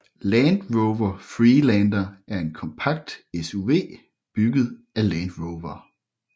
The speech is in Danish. Land Rover Freelander er en kompakt SUV bygget af Land Rover